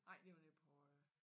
Nej det var nede på øh